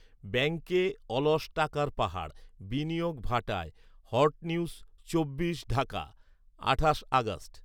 ব্যাঙ্কে অলস টাকার পাহাড়, বিনিয়োগ ভাটায়। হট নিউজ চব্বিশ ঢাকা, আঠাশ আগস্ট।